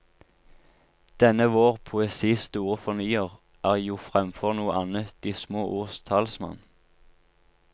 Denne vår poesis store fornyer er jofremfor noe annet de små ords talsmann.